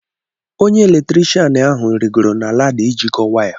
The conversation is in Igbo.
Onye elektrishan ahụ rịgooro na lada ijikọ waya.